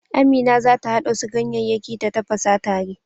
Amina za ta haɗa wasu ganyeyyaki ta tafasa tare.